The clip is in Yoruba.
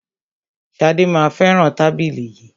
Ṣadé má a fẹràn tábìlì yìí.